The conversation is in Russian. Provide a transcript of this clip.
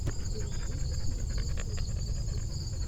ты найдешь у себя плейстейшен россия